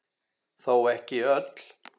Þó ekki öll.